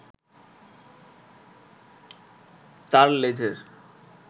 তার লেজের